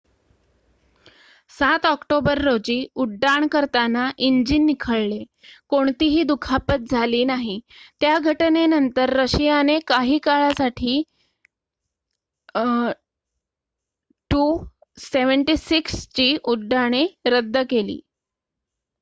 ७ October रोजी उड्डाण करताना इंजीन निखळले कोणतीही दुखापत झाली नाही. त्या घटनेनंतर रशियाने काही काळासाठी il-76 ची उड्डाणे रद्द केली